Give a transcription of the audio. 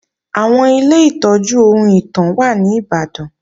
Àwọn Ilé ìtọ́jú ohun ìtàn wà ní Ìbàdàn